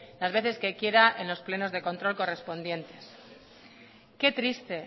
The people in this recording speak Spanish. las veces que quiera en los plenos de control correspondientes qué triste